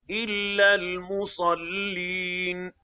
إِلَّا الْمُصَلِّينَ